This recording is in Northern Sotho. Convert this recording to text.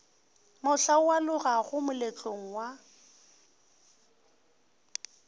mohla o alogago moletlong wa